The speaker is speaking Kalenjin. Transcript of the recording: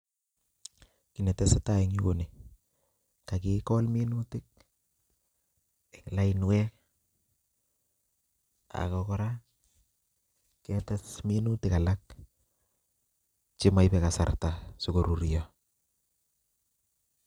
Kiy ne tesetai en yuu, ko nii. Kakigol minutik eng' lainwek, ago kora, ketes minutik alak che maibe kasarta sikorurio